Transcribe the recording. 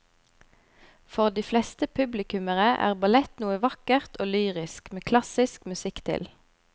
For de fleste publikummere er ballett noe vakkert og lyrisk med klassisk musikk til.